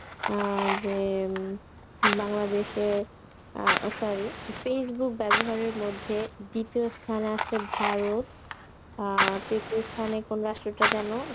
অ্যাঁ যে উম বাংলাদেশের ও sorry Facebook ব্যবহারের মধ্যে দ্বিতীয় স্থানে আছে ভারত আ তৃতীয় স্থানে কোন রাষ্ট্রটা যেন